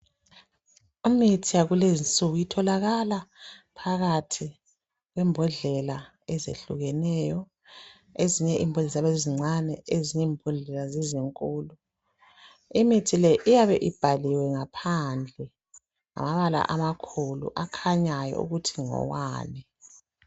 Imithi yakulezinsuku itholakala phakathi kwembhondlela ezehlukeneyo ezinye ziyabe zizincane ezinye zizinkulu. Imithi le iyabe ibhaliwe ngaphandle ngamabala amakhulu akhanyayo ukuthi ngowani.